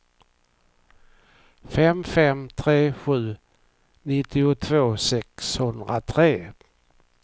fem fem tre sju nittiotvå sexhundratre